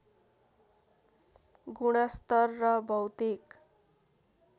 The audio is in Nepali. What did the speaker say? गुणस्तर र भौतिक